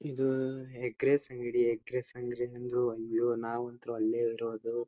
ಇದು egg rice ಅಂಗಡಿ egg rice ನಾವು ಅಂತು ಅಲ್ಲೇ ಇರೋದು.